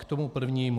K tomu prvnímu.